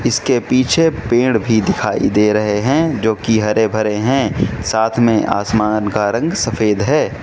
इसके पीछे पेड़ भी दिखाई दे रहे हैं जो कि हरे भरे हैं साथ में आसमान का रंग सफेद है।